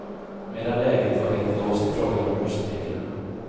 Medan läget var helt låst i frågan om röstreglerna.